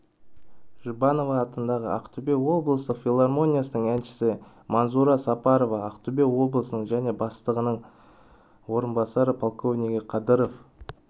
жұбанова атындағы ақтөбе облыстық филармониясының әншісі манзура сапарова ақтөбе облысының және бастығының орынбасары полковнигі қадыров